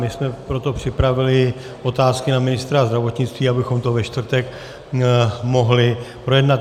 My jsme proto připravili otázky na ministra zdravotnictví, abychom to ve čtvrtek mohli projednat.